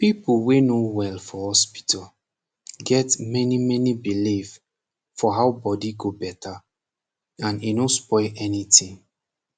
people wey no wel for hospital get mani mani belief for how bodi go beta and e no spoil anytin